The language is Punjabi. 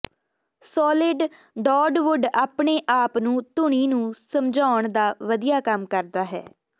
ਸੌਲਿਡ ਡਾਰਡਵੁੱਡ ਆਪਣੇ ਆਪ ਨੂੰ ਧੁਨੀ ਨੂੰ ਸਮਝਾਉਣ ਦਾ ਵਧੀਆ ਕੰਮ ਕਰਦਾ ਹੈ